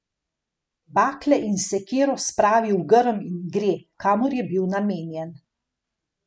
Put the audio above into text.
Bakle in sekiro spravi v grm in gre, kamor je bil namenjen.